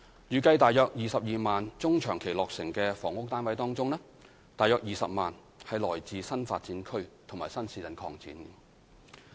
預計在約22萬中長期落成的房屋單位當中，約20萬是來自新發展區及新市鎮擴展。